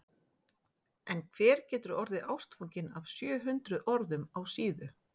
En hver getur orðið ástfanginn af sjö hundruð orðum á síðu?